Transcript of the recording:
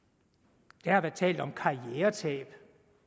der har været talt om karrieretab